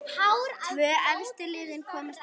Tvö efstu liðin komast upp.